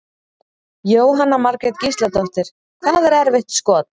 Jóhanna Margrét Gísladóttir: Hvað er erfitt skot?